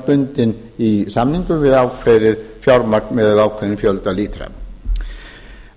bundin í samningum við ákveðið fjármagn miðað við ákveðinn fjölda lítra